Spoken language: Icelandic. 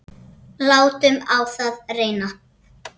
Látum á það reyna.